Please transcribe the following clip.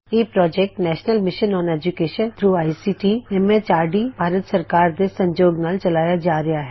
ਇਹ project national mission on education through ICT MHRD Bharat ਸਰਕਾਰ ਦੇ ਸਹਿਯੋਗ ਨਾਲ ਚਲਾਇਆ ਜਾ ਰਿਹਾ ਹੈ